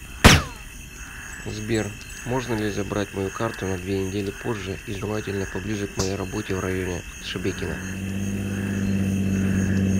сбер можно ли забрать мою карту на две недели позже и желательно поближе к моей работе в районе шебекино